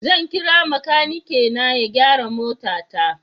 Zan kira makanikina ya gyara motata.